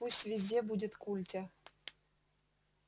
пусть везде будет культя